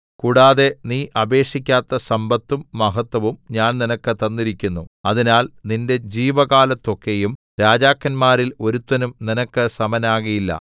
കൂടാതെ നീ അപേക്ഷിക്കാത്ത സമ്പത്തും മഹത്വവും ഞാൻ നിനക്ക് തന്നിരിക്കുന്നു അതിനാൽ നിന്റെ ജീവകാലത്തൊക്കെയും രാജാക്കന്മാരിൽ ഒരുത്തനും നിനക്ക് സമനാകയില്ല